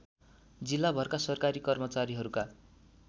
जिल्लाभरका सरकारी कर्मचारीहरूका